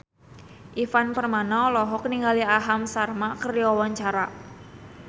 Ivan Permana olohok ningali Aham Sharma keur diwawancara